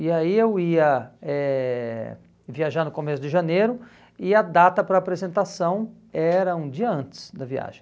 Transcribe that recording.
E aí eu ia eh viajar no começo de janeiro e a data para apresentação era um dia antes da viagem.